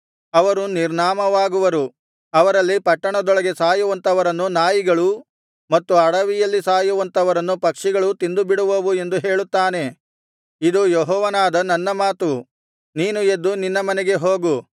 ಅವರು ನಿರ್ನಾಮವಾಗುವರು ಅವರಲ್ಲಿ ಪಟ್ಟಣದೊಳಗೆ ಸಾಯುವಂಥವರನ್ನು ನಾಯಿಗಳೂ ಮತ್ತು ಅಡವಿಯಲ್ಲಿ ಸಾಯುವಂಥವರನ್ನು ಪಕ್ಷಿಗಳೂ ತಿಂದುಬಿಡುವವು ಎಂದು ಹೇಳುತ್ತಾನೆ ಇದು ಯೆಹೋವನಾದ ನನ್ನ ಮಾತು ನೀನು ಎದ್ದು ನಿನ್ನ ಮನೆಗೆ ಹೋಗು